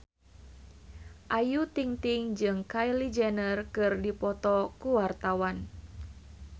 Ayu Ting-ting jeung Kylie Jenner keur dipoto ku wartawan